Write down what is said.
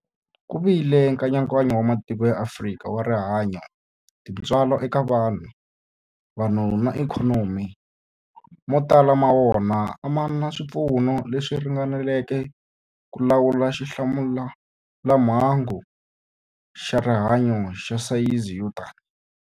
Ku vile nkayakayo wa matiko ya Afrika wa rihanyu, tintswalo eka vanhu, vanhu na ikhonomi, mo tala ma wona a ma na swipfuno leswi ringaneleke ku lawula xilamulelamhangu xa rihanyu xa sayizi yo tani.